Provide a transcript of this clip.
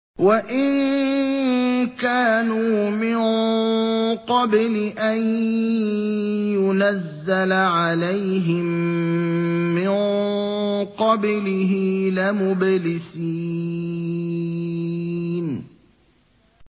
وَإِن كَانُوا مِن قَبْلِ أَن يُنَزَّلَ عَلَيْهِم مِّن قَبْلِهِ لَمُبْلِسِينَ